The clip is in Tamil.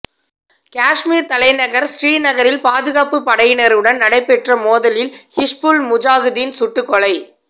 காஷ்மீர் தலைநகர் ஸ்ரீநகரில் பாதுகாப்பு படையினருடன் நடைபெற்ற மோதலில் ஹிஸ்புல் முஜாகிதீன் சுட்டுக்கொலை